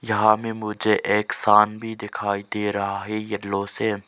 यहां हमें मुझे एक शाम भी दिखाई दे रहा है येल्लो से--